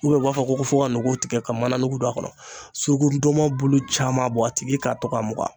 ubiyɛn b'a fɔ ko fɔ ka nogo tigɛ ka mana nugu don a kɔnɔ suruku ndɔnmɔn bulu caman bɔ a tigi k'a to ka mugan